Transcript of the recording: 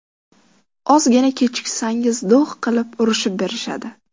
Ozgina kechiksangiz do‘g‘ qilib, urushib berishadi.